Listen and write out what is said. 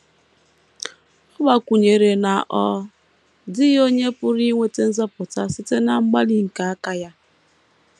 Ọ gbakwụnyere na ọ dịghị onye pụrụ inweta nzọpụta site ná mgbalị nke aka ya.